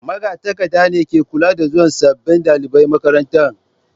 Magatakarda ne ke kula da zuwan sabbin dalibai makarantar.